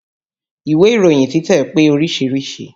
Ìwé ìròyin títẹ̀ pé oríṣiríṣìí